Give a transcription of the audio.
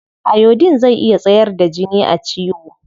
Iodine zai iya tsayar da jini a ciwo.